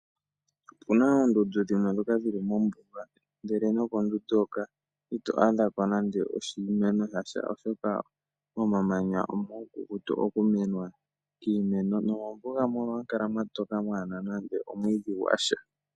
Opu na oondundu dhimwe ndhoka dhi li mombuga, ihe nokondundu hoka ito adha ko nando oshimeno sha sha, oshoka momamanya omuukukutu okumenwa kiimeno nomombuga mono ohamu kala mwa toka mwaa na nando omwiidhi gwa sha.